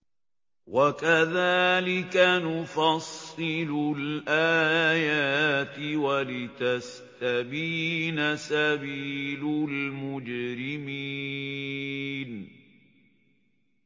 وَكَذَٰلِكَ نُفَصِّلُ الْآيَاتِ وَلِتَسْتَبِينَ سَبِيلُ الْمُجْرِمِينَ